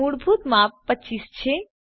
મૂળભૂત માપ 25 છે